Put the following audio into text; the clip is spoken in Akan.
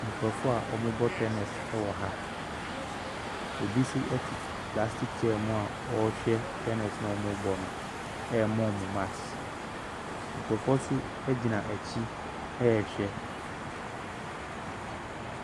Nkurɔfoɔ a wɔbɔ tennis wɔ ha. Obi nso te plastic chair mu a ɔrehwɛ tennis a wɔrebɔ no rema wɔn marks. Nkurɔfoɔ nso gyina akyi rehwɛ.